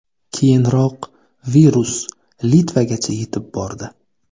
Keyinroq virus Litvagacha yetib bordi .